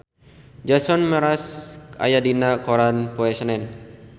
Jason Mraz aya dina koran poe Senen